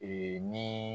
Ee ni